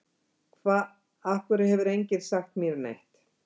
Hva, af hverju hefur enginn sagt mér neitt?